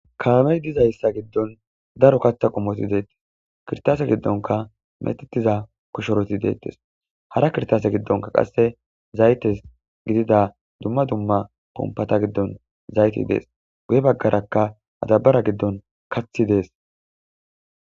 Kalamey dizayssa giddon daro katha qomoti deettes kirtase giddonka metetiza koshoroti deettes hara kirtase giddonka qasse zaytes gidida dumma dumma kompata giddon zayti dees wuye baggarakka adabara giddon kathi dees.